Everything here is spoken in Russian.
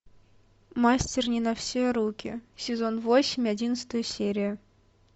мастер не на все руки сезон восемь одиннадцатая серия